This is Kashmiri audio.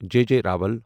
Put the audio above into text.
J J Rawal